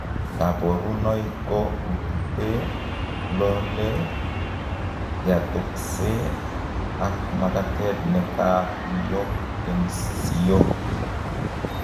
Kaborunoik koo ututee, lolee, yatoksee, ak makatet nekatuiyok eng, siook